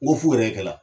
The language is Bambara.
N ko fo yɛrɛ kɛ la